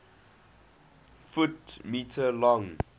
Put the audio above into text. ft m long